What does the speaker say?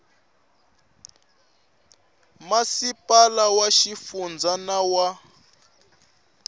masipala wa xifundza na wa